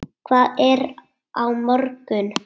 Hvað er á morgun?